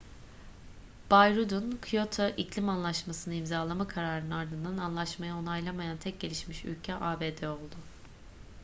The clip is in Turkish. bay rudd'un kyoto iklim anlaşmasını imzalama kararının ardından anlaşmayı onaylamayan tek gelişmiş ülke abd oldu